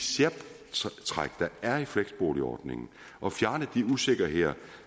særtræk der er i fleksboligordningen og fjerne de usikkerheder